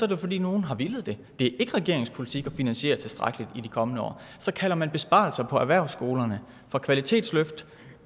det fordi nogle har villet det det er ikke regeringens politik at finansiere tilstrækkeligt i de kommende år og så kalder man besparelser på erhvervsskolerne for kvalitetsløft